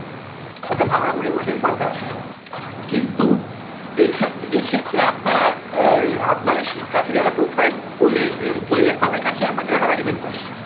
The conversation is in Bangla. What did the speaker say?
অর্থাত ভালো রকম remuneration পান তারা আপনারা কিন্তু এই ক্ষেত্রে আপনারা এর আপনার কাছে যারা profile খোলে তাদের কাজথেকে আপনারা কেন টাকা diamond করেন